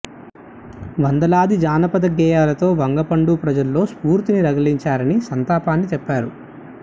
వందలాది జానపద గేయాలతో వంగపండు ప్రజల్లో స్ఫూర్తిని రగిలించారని సంతాపాన్ని తెలిపారు